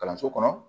Kalanso kɔnɔ